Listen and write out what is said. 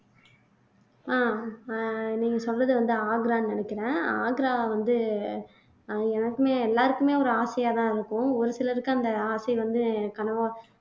ஆஹ் அஹ் நீங்க சொல்றது வந்து ஆக்ரான்னு நினைக்கிறேன் ஆக்ரா வந்து அஹ் எனக்குமே எல்லாருக்குமே ஒரு ஆசையாதான் இருக்கும் ஒரு சிலருக்கு அந்த ஆசை வந்து கனவா